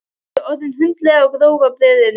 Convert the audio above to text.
Ég er orðin hundleið á grófa brauðinu!